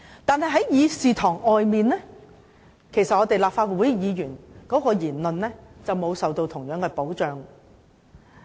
可是，在議事堂外，立法會議員的言論便不會受到同樣保障。